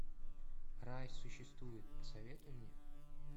рай существует посоветуй мне